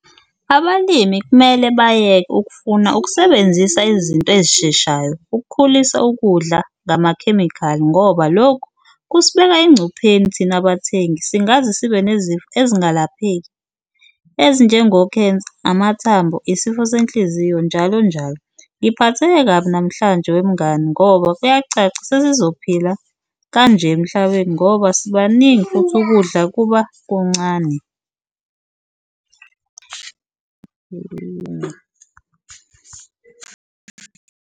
Abalimi kumele bayeke ukufuna ukusebenzisa izinto ezisheshayo ukukhulisa ukudla ngamakhemikhali ngoba lokhu kusibeka engcupheni thina bathengi singaze sibe nezifo ezingalapheki ezinjengokhensa, amathambo, isifo senhliziyo, njalo njalo. Ngiphatheke kabi namhlanje wemngani ngoba kuyacaca sesizophila kanje emhlabeni ngoba sibaningi futhi ukudla kuba kuncane.